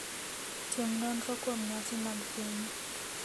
Tim nonro kuom nyasi mag pinyu.